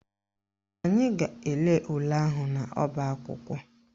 Anyị ga-ele ule ahụ n'ọbaakwụkwọ